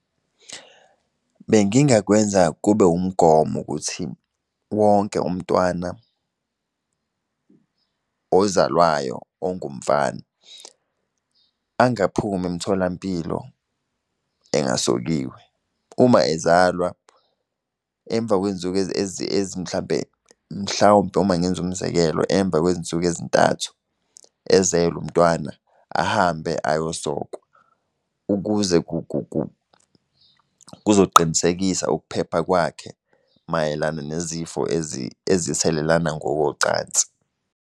Bengingakwenza kube wumgomo ukuthi, wonke umntwana ozalwayo ongumfana, angaphumi emtholampilo engasokiwe. Uma ezalwa emva kwey'nsuku mhlampe mhlawumpe uma ngenza umzekelo emva kwezinsuku ezintathu ezelwe umntwana, ahambe ayosokwa. Ukuze kuzoqinisekisa ukuphepha kwakhe mayelana nezifo ezithelelana ngokocansi.